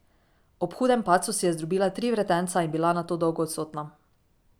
Ob hudem padcu si je zdrobila tri vretenca in bila nato dolgo odsotna.